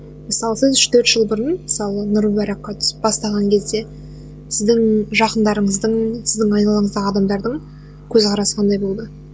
мысалы сіз үш төрт жыл бұрын мысалы нұр мубаракқа түсіп бастаған кезде сіздің жақындарыңыздың сіздің айналаңыздағы адамдардың көзқарасы қандай болды